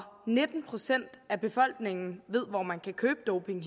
nitten procent af befolkningen ved hvor man kan købe doping